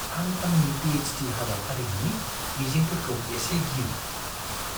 आं आंनि P. H. D. हाबाफारिनि मिजिंफोरखौ एसे गियो।